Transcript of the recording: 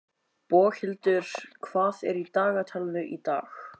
Boghildur, hvað er í dagatalinu í dag?